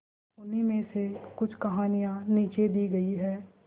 उन्हीं में से कुछ कहानियां नीचे दी गई है